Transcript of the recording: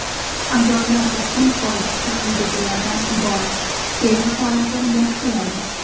Ayollar uchun foydasi quyidagilardan iborat: Teri holatini yaxshilaydi.